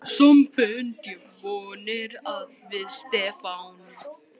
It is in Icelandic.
Samt bind ég vonir við Stefán.